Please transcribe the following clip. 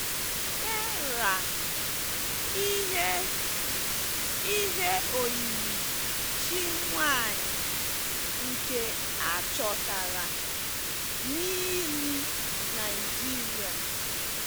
Terra - ihe - ihe oyiyi chi nwanyị nke a chọtara n'ili cs] Nigeria.